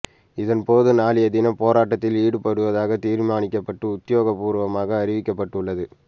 இதன்போது நாளைய தினம் போராட்டத்தில் ஈடுபடுவதாக தீர்மானிக்கப்பட்டு உத்தியோகபூர்வமாக அறிவிக்கப்பட்டுள்ளது